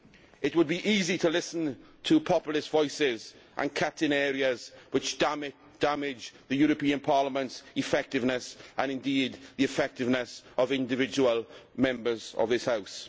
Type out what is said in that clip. It would be easy to listen to populist voices and make cuts in areas which damage the European Parliament's effectiveness, and indeed the effectiveness of individual Members of this House.